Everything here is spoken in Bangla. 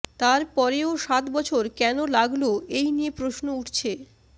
তারপরেও সাত বছর কেন লাগল এই নিয়ে প্রশ্ন উঠছে